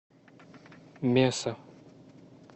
меса